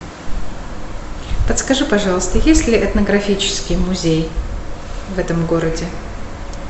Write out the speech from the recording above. подскажи пожалуйста есть ли этнографический музей в этом городе